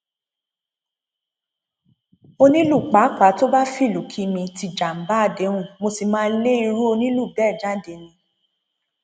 onílù pàápàá tó bá fìlú kí mi ti jàǹbá àdéhùn mo sì máa lé irú onílù bẹẹ jáde ni